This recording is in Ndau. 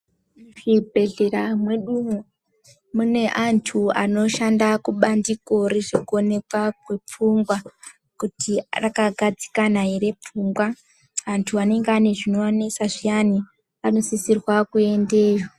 Muzvibhehlera mwedumwo mune antu anoshanda kubandiko rezvekuonekwa kwepfungwa kuti akagadzikana ere pfungwa. Antu anenge ane zvinoanesa zviyani anosisirwa kuendeyo.